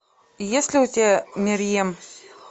есть ли у тебя мерьем